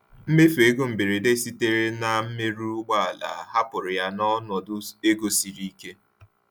Mmefu ego mberede sitere na mmerụ ụgbọala hapụrụ ya n’ọnọdụ ego siri ike.